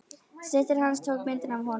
Systir hans tók myndina af honum.